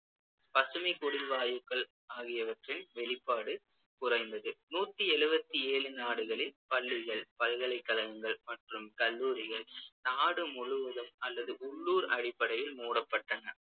பசுமைக்குடில் வாயுக்கள் ஆகியவற்றின் வெளிப்பாடு குறைந்தது நூத்தி எழுபத்தி ஏழு நாடுகளில் பள்ளிகள், பல்கலைக்கழகங்கள் மற்றும் கல்லூரிகள் நாடு முழுவதும் அல்லது உள்ளூர் அடிப்படையில் மூடப்பட்டன